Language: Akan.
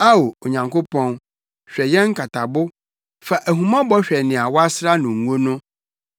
Ao, Onyankopɔn, hwɛ yɛn nkatabo; fa ahummɔbɔ hwɛ nea woasra no ngo no.